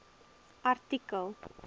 artikel